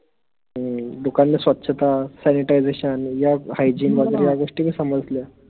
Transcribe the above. हम्म दुकानला स्वछता sanitisation या hyejin वगैरे या गोष्टीही समजल्या